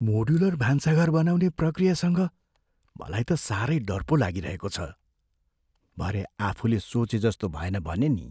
Modular भान्साघर बनाउने प्रक्रियासँग मलाई त साह्रै डर पो लागिरहेको छ। भरे आफूले सोचेजस्तो भएन भने नि!